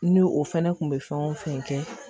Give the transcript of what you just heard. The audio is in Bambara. N'o o fɛnɛ kun bɛ fɛn o fɛn kɛ